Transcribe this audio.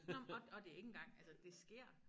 Nå men og og det ikke engang altså det sker